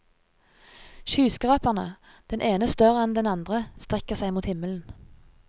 Skyskraperne, den ene større enn den andre, strekker seg mot himmelen.